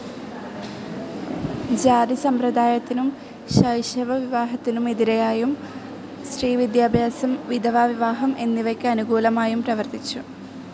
ജാതിസമ്പ്രദായത്തിനും ശൈശവ വിവാഹത്തിനും എതിരായും സ്ത്രീ വിദ്യാഭ്യാസം, വിധവാ വിവാഹം എന്നിവയ്ക്ക് അനുകൂലമായും പ്രവർത്തിച്ചു.